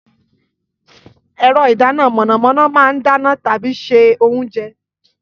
Ẹ̀rọ ìdáná iná mọ̀nàmọ́ná máa ń dáná tàbí ṣe oúnjẹ.